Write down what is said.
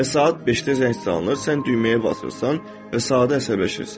Və saat beşdə zəng çalınır, sən düyməyə basırsan və sadəcə əsəbləşirsən.